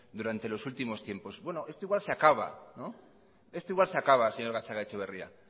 durante los últimos tiempos bueno esto igual se acaba esto igual se acaba señor gatzagaetxeberria